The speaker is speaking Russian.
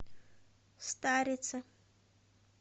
старице